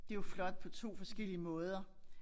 Det jo flot på 2 forskellige måder